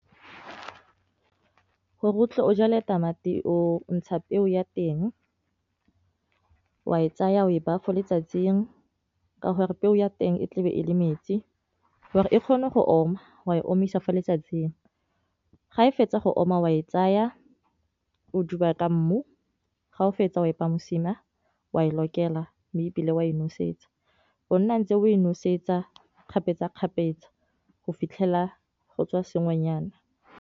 Gore o tle o jala e tamati o ntsha peo ya teng wa e tsaya o e ba fo letsatsing ka gore peo ya teng e tlabe e le metsi or e kgone go oma wa e omisa mo letsatsing, ga e fetsa go oma wa e tsaya o duba ka mmu ga o fetsa o epa mosima wa e lokela mme e bile wa e nosetsa o nna ntse o e nosetsa kgapetsakgapetsa go fitlhela go tswa sengwenyana.